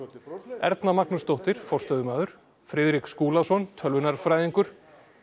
Erna Magnúsdóttir forstöðumaður Friðrik Skúlason tölvunarfræðingur